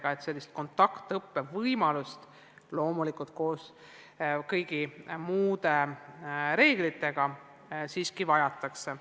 Nii et sellist kontaktõppe võimalust, loomulikult kõiki reegleid järgides, siiski vajatakse.